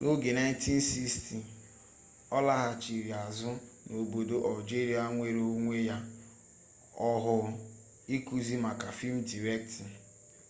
na oge 1960 olaghachiri azu n'obodo algeria nwere onwe ya ohuu ikuzi maka film directing